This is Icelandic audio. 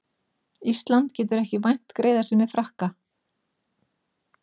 Ísland getur ekki vænt greiðasemi Frakka